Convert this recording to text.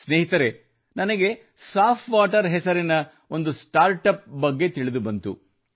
ಸ್ನೇಹಿತರೇ ನನಗೆ ಸಾಫ್ ವಾಟರ್ ಸಾಫ್ವಾಟರ್ ಹೆಸರಿನ ಒಂದು ಸ್ಟಾರ್ಟ್ ಅಪ್ ನ ಬಗ್ಗೆ ತಿಳಿದು ಬಂತು